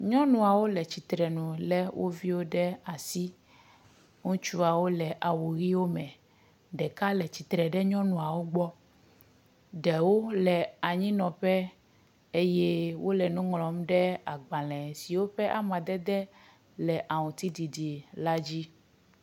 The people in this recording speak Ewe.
Nyɔnuawo le tsitre nu le wo viwo ɖe asi. Ŋutsuawo le awu ʋiwo me. Ɖeka le tsitre ɖe nyɔnuawo gbɔ. Ɖewo le anyinɔƒe eye wole nu ŋlɔm ɖe gbale siwo ƒe amadede le aŋtsiɖiɖi la dzi.